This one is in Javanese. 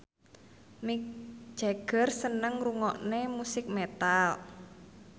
Mick Jagger seneng ngrungokne musik metal